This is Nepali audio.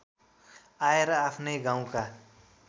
आएर आफ्नै गाउँका